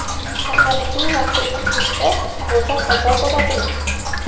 Saharlikning vaqti o‘tib ketsa, ro‘za qazo bo‘ladimi?.